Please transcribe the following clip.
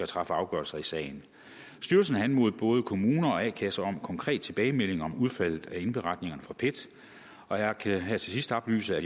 træffe afgørelse i sagen styrelsen har anmodet både kommuner og a kasser om konkret tilbagemelding om udfaldet af indberetningerne fra pet og jeg kan her til sidst oplyse at